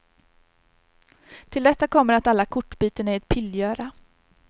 Till detta kommer att alla kortbyten är ett pillgöra.